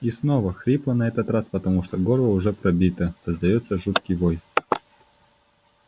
и снова хрипло на этот раз потому что горло уже пробито раздаётся жуткий вой